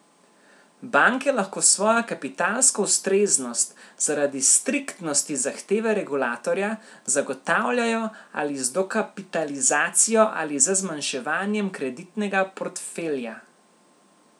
Banke lahko svojo kapitalsko ustreznost, zaradi striktnosti zahteve regulatorja, zagotavljajo ali z dokapitalizacijo ali z zmanjševanjem kreditnega portfelja.